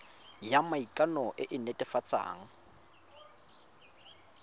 ya maikano e e netefatsang